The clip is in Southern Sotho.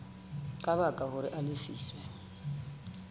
ka baka hore a lefiswe